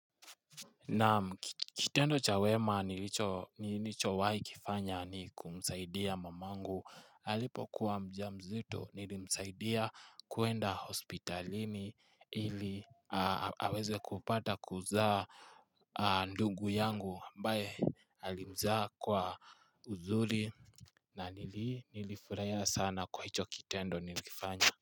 Nam kitendo cha weema nilichowahi kufanya ni kumsaidia mamangu Alipokuwa mjamzuto nilimsaidia kuenda hospitalini ili aweze kupata kuzaa ndugu yangu ambaye alimzaa kwa uzuri na nili, nilifurahia sana kwa hicho kitendo nilichkifanya.